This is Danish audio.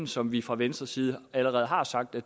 som vi fra venstres side allerede har sagt at